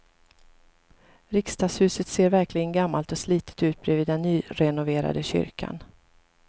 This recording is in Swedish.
Riksdagshuset ser verkligen gammalt och slitet ut bredvid den nyrenoverade kyrkan.